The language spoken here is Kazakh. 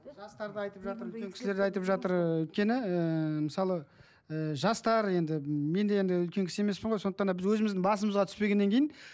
жастарды айтып жатыр үлкен кісілер де айтып жатыр ы өйткені ыыы мысалы ы жастар енді мен де енді үлкен кісі емеспін ғой сондықтан да біз өзіміздің басымызға түспегеннен кейін